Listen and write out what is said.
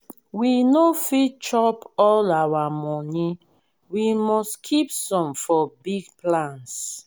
we no fit chop all our money we must keep some for big plans.